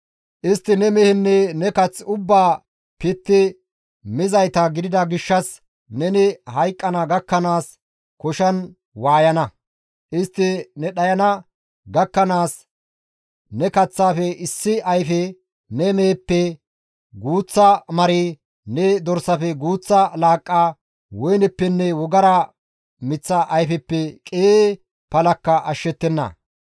Istti ne mehenne ne kath ubbaa pitti mizayta gidida gishshas neni hayqqana gakkanaas koshan waayana; istti ne dhayana gakkanaas ne kaththaafe issi ayfe, ne meheppe guuththa mari, ne dorsafe guuththa laaqqa, woyneppenne wogara miththa ayfeppe qii palakka ashshettenna.